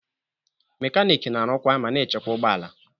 Mekaniki na-arụkwa ma na-echekwa ụgbọ ala